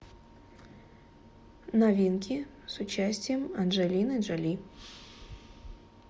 новинки с участием анджелины джоли